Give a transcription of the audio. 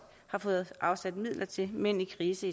har fået afsat midler til mænd i krise